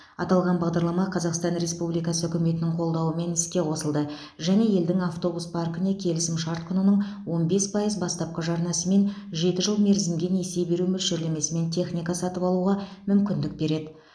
аталған бағдарлама қазақстан республикасы үкіметінің қолдауымен іске қосылды және елдің автобус паркіне келісім шарт құнының он бес пайыз бастапқы жарнасымен жеті жыл мерзімге несие беру мөлшерлемесімен техника сатып алуға мүмкіндік береді